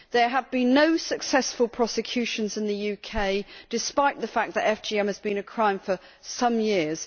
There have been no successful prosecutions in the UK despite the fact that FGM has been a crime for some years.